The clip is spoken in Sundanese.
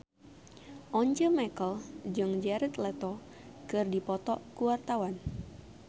Once Mekel jeung Jared Leto keur dipoto ku wartawan